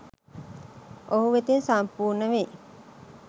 ඔහු වෙතින් සම්පූර්ණ වෙයි